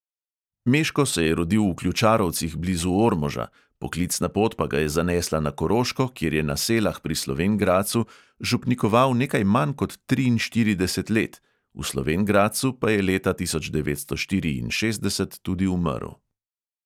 Meško se je rodil v ključarovcih blizu ormoža, poklicna pot pa ga je zanesla na koroško, kjer je na selah pri slovenj gradcu župnikoval nekaj manj kot triinštirideset let, v slovenj gradcu pa je leta tisoč devetsto štiriinšestdeset tudi umrl.